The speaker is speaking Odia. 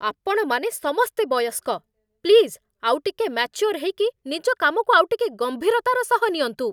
ଆପଣମାନେ ସମସ୍ତେ ବୟସ୍କ! ପ୍ଲିଜ୍ ଆଉଟିକେ ମାଚ୍ୟୋର୍ ହେଇକି ନିଜ କାମକୁ ଆଉଟିକେ ଗମ୍ଭୀରତାର ସହ ନିଅନ୍ତୁ ।